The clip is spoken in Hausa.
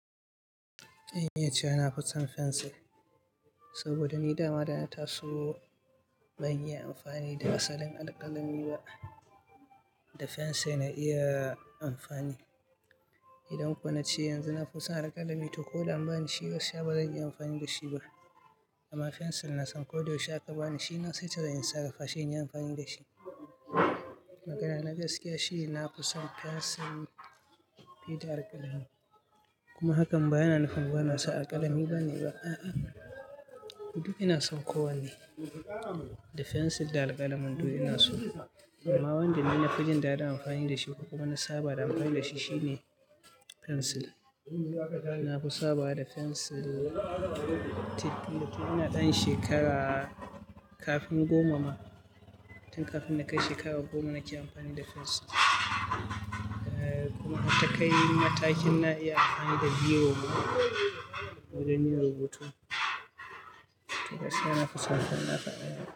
Eh, iya ce. Na fi son fensil saboda ni da ma dan ta so ban mu iya amfani da asalin alƙalami ba. Da fensil na iya amfani. Idan kuwa na ce yanzu na fi son alƙalami to ko da an ba ni shi, to gaskiya bazan iya amfani da shi ba. Amma fensil na san ko da yaushe aka ba ni shi, na seto yinsa, gafashe, ina amfani da shi. Magana na gaskiya shine na fi son fensil fi da alƙalami. Kuma hakan ba yana nufin ba na so alƙalami bane ba. A'a, duk ina son kowanne, da fensil da alƙalamin duk ina so. Amma wanda ni na fi jin daɗin amfani da shi kuma na saba da amfani da shi shine fensil. Na fi saba da fensil tun ina ɗan shekara kafin goma ma. Tun kafin na kai shekara goma nake amfani da fensil. Kuma matakin na iya amfani da biro ma wajen yin rubutu. Gaskiya na fi son fensil.